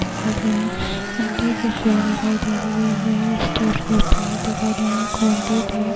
दिखाई दे रहे है। अंडे की ट्रे दिखाई दे रही है। यह एक स्टे फ्री पैड दिखाई दे रहे है। कोलगेट है।